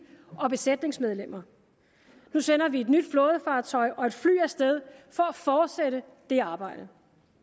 og besætningsmedlemmer nu sender vi et nyt flådefartøj og et fly af sted for at fortsætte det arbejde